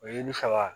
O ye ne faga